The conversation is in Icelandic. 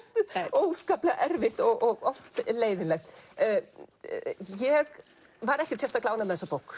óskaplega erfitt og oft leiðinlegt ég var ekkert sérstaklega ánægð með þessa bók